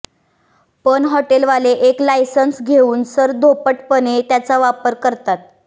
पण हॉटेलवाले एक लायसन्स घेऊन सरधोपटपणे त्याचा वापर करतात